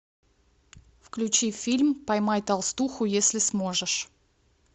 включи фильм поймай толстуху если сможешь